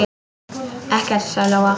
Ekkert, sagði Lóa.